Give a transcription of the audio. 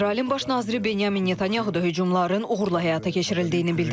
İsrailin baş naziri Benjamin Netanyahu da hücumların uğurla həyata keçirildiyini bildirib.